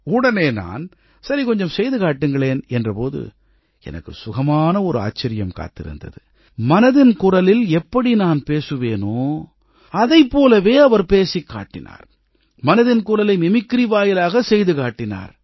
உடனே நான் சரி கொஞ்சம் செய்து காட்டுங்களேன் என்ற போது எனக்கு சுகமான ஒரு ஆச்சரியம் காத்திருந்தது மனதின் குரலில் எப்படி நான் பேசுவேனோ அதைப் போலவே அவர் பேசிக் காட்டினார் மனதின் குரலை மிமிக்ரி வாயிலாகச் செய்து காட்டினார்